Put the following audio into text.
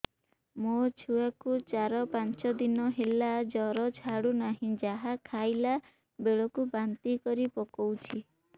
ମୋ ଛୁଆ କୁ ଚାର ପାଞ୍ଚ ଦିନ ହେଲା ଜର ଛାଡୁ ନାହିଁ ଯାହା ଖାଇଲା ବେଳକୁ ବାନ୍ତି କରି ପକଉଛି